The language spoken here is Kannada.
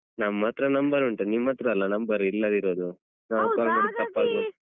ನಮ್ಮತ್ರ number ಉಂಟು ನಿಮ್ಮತ್ರ ಅಲ್ಲ number ಇಲ್ಲದಿರುದು